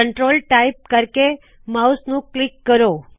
control type ਕਰਕੇ mouse ਨੂੰ click ਕਰੋ